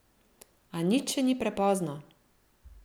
A nič še ni prepozno!